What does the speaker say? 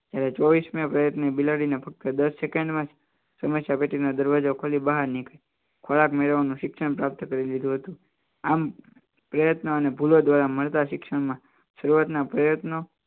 ત્યારે ચોવીસ ને બિલાડીને ફક્ત સમસ્યા પેઢીના દરવાજો ખોલી બહાર નીકળે ખોરાક મેળવવાનો શિક્ષણ પ્રાપ્ત કરી દીધું હતું આમ પ્રયત્ન અને ફૂલો દ્વારા મળતા શિક્ષણમાં શરૂઆતના પ્રયત્નો